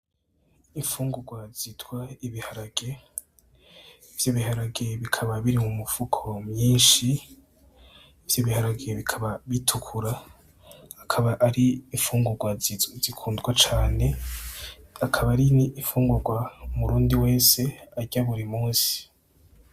Infungurwa zitwa ibiharage , ivyo biharage bikaba biri mu mifuko myinshii , ivyo biharage bikaba bitukura akaba ari infungurwa zizwi zikundwa cane akaba ari n’infungurwa umurundi wese arya buri musi .